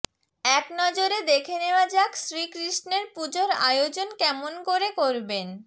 এক নজরে দেখে নেওয়া যাক শ্রীকৃষ্ণের পুজোর আয়োজন কেমন করে করবেন